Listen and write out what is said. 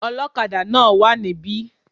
Olókadà náà wá níbí